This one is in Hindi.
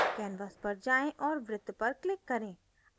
canvas पर जाएँ और वृत्त पर click करें